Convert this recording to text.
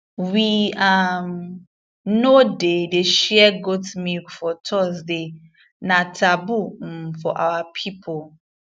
we um no dey dey share goat milk for thursday na taboo um for our people